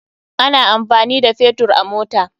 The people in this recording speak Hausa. Ana amfani da Fetur a mota.